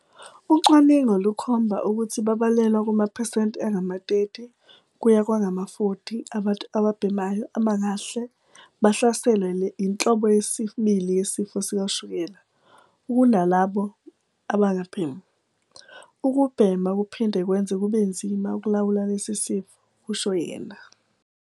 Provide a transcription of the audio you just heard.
"Ucwaningo lukhomba ukuthi babalelwa kumaphesenti angama-30 kuya kwangama-40 abantu ababhemayo abangahle bahlaselwe yinhlobo yesibili yesifo sikashukela ukunalabo abangabhemi. Ukubhema kuphinde kwenze kube nzima ukulawula lesi sifo," kusho yena.